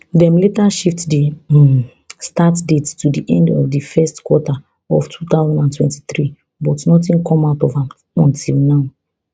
dem later shift di um start date to di end of di first quarter of two thousand and twenty-three but nothing come out of am until now